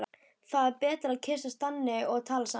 Það er betra að kyssast þannig og tala saman.